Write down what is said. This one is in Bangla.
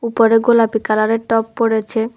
বড় গোলাপী কালারের টপ পরেছে।